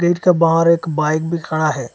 इसका बाहर एक बाइक भी खड़ा है।